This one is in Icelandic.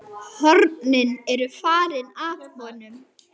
Hornin eru farin af honum.